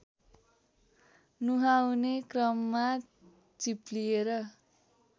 नुहाउने क्रममा चिप्लिएर